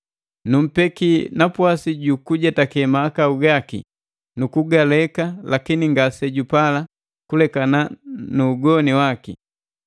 Numpeki napwasi ju kujetake mahakau gaki nu kugaleka, lakini ngase jupala kulekana nu ugoni waki.